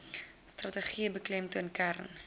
strategie beklemtoon kern